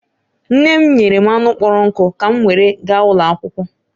Nne m nyere m anụ kpọrọ nkụ ka m were gaa ụlọ akwụkwọ